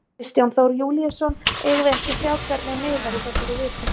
Kristján Þór Júlíusson: Eigum við ekki að sjá hvernig miðar í þessari viku?